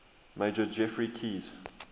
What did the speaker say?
major geoffrey keyes